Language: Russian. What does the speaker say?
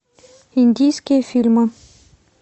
индийские фильмы